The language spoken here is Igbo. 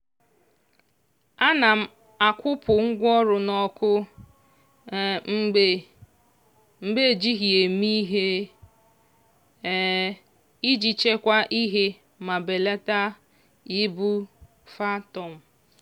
ana m akwụpụ ngwaọrụ n'ọkụ mgbe mgbe ejighị ya eme ihe iji chekwaa ihe ma belata ibu phantom